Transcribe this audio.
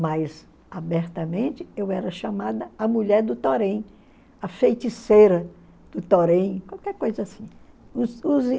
Mas, abertamente, eu era chamada a mulher do Torém, a feiticeira do Torém, qualquer coisa assim.